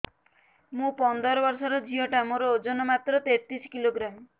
ମୁ ପନ୍ଦର ବର୍ଷ ର ଝିଅ ଟା ମୋର ଓଜନ ମାତ୍ର ତେତିଶ କିଲୋଗ୍ରାମ